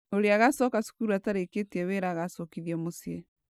Ũrĩa agacoka cukuru atarĩkĩtie wĩra agacokithio mũciĩ